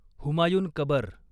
हुमायून कबर